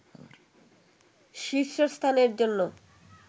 শীর্ষস্থানের জন্য